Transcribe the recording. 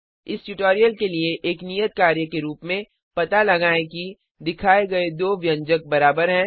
इस ट्यूटोरियल के लिए एक नियत कार्य के रूप में पता लगाएं कि दिखाए गए दो व्यंजक बराबर हैं